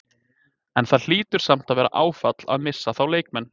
En það hlýtur samt að vera áfall að missa þá leikmenn?